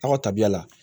Aw ka tabiya la